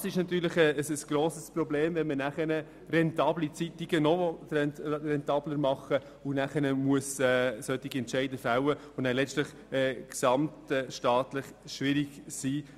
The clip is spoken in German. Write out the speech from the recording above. Es ist natürlich ein grosses Problem, wenn man rentable Zeitungen noch rentabler machen will und dann dafür solche Entscheide fällen muss, die letztendlich in gesamtstaatlicher Hinsicht schwierig sind.